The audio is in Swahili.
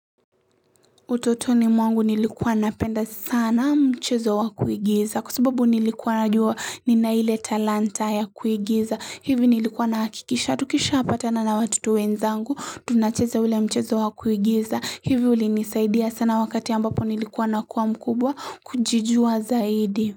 Utotoni mwangu nilikuwa napenda sana mchezo wa kuigiza kwa sababu nilikua najua ninaile talanta ya kuigiza hivi nilikuwa nahakikisha tukisha patana na watoto wenzangu tunacheza ule mchezo wa kuigiza hivi uli nisaidia sana wakati ambapo nilikuwa nakua mkubwa kujijua zaidi.